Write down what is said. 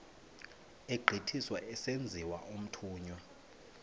egqithiswa esenziwa umthunywa